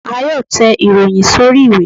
À yóò tè ìròyìn sorí ìwé